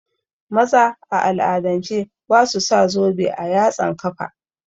Maza a al'adance basu sa zobe a yatsan kafa